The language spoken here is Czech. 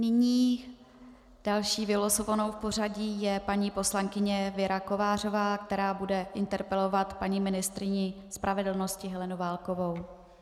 Nyní další vylosovanou v pořadí je paní poslankyně Věra Kovářová, která bude interpelovat paní ministryni spravedlnosti Helenu Válkovou.